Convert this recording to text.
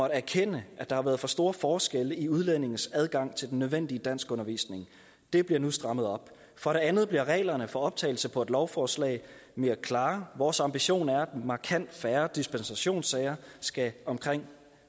erkende at der har været for store forskelle i udlændinges adgang til den nødvendige danskundervisning det bliver nu strammet op for det andet bliver reglerne for optagelse på et lovforslag mere klare vores ambition er at markant færre dispensationssager skal omkring